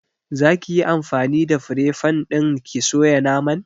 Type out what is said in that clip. Za ki yi anfani da fire fan ɗin ki soya naman?